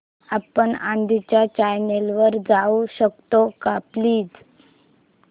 आपण आधीच्या चॅनल वर जाऊ शकतो का प्लीज